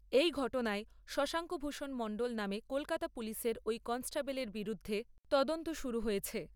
এই ঘটনায় শশাঙ্ক ভূষণ মণ্ডল নামে কলকাতা পুলিশের ঐ কনস্টেবলের বিরুদ্ধে তদন্ত শুরু হয়েছে।